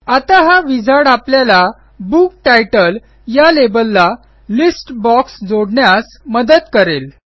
आता हा विझार्ड आपल्याला बुक तितले या लेबलला लिस्ट बॉक्स जोडण्यास मदत करेल